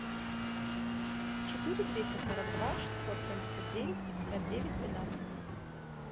четыре двести сорок два шестьсот семьдесят девять пятьдесят девять двенадцать